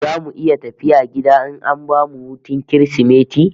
Zamu iya tafiya gida in an bamu hutun Kirsimeti?